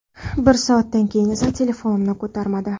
Bir soatdan keyin esa telefonimni ko‘tarmadi.